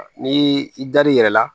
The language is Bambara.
Ni i dar'i yɛrɛ la